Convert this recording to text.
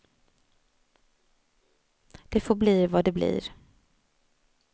Det får bli vad det blir.